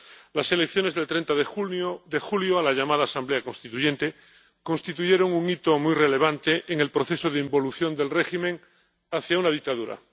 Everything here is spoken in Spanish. Las elecciones del 30 de julio a la llamada Asamblea Constituyente constituyeron un hito muy relevante en el proceso de involución del régimen hacia una dictadura.